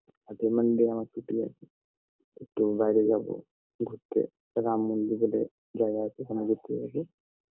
আগের Monday আমার ছুটি আছে একটু বায়রে যাবো ঘুরতে রাম মন্দির বলে জায়গা আছে ওখানে ঘুরতে হবে